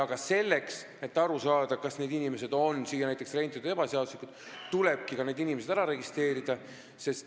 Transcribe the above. Ja selleks, et aru saada, kas need inimesed on näiteks siia ebaseaduslikult renditud, tulebki nad ära registreerida.